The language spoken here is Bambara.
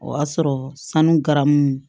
O y'a sɔrɔ sanu garamu